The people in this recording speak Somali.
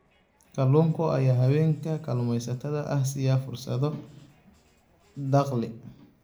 Kalluunka ayaa haweenka kalluumaysatada ah siiya fursado dakhli.